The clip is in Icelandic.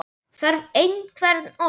Þarf einhver orð?